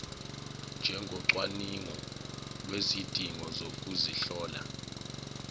njengocwaningo lwezidingo zokuzihlola